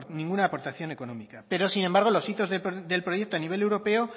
ninguna aportación económico pero sin embargo los hitos del proyecto a nivel europeo